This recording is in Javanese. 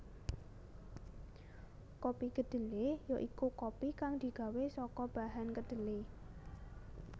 Kopi kedhelé ya iku kopi kang digawé saka bahan kedhelé